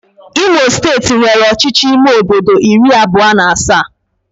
Imo steeti nwere ọchịchị ime obodo iri abụọ na asaa